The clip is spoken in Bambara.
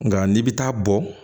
Nka n'i bɛ taa bɔ